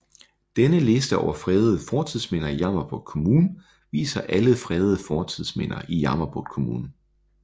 Denne liste over fredede fortidsminder i Jammerbugt Kommune viser alle fredede fortidsminder i Jammerbugt Kommune